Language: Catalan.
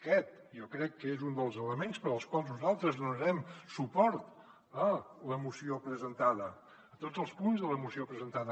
aquest jo crec que és un dels elements pel qual nosaltres donarem suport a la moció presentada a tots els punts de la moció presentada